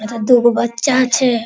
एत दूगो बच्चा छे |